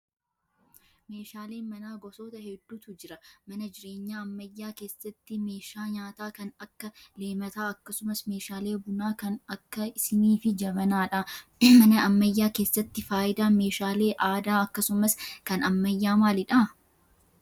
Meeshaaleen manaa gosoota hedduutu jira. Mana jireenya ammayyaa keessatti meeshaa nyaataa kan akka leemataa akkasumas meeshaalee bunaa kan akka siinii fi jabanaadha. Mana ammayyaa keessatti fayidaan meeshaalee aadaa akkasumas kan ammayyaa maalidha?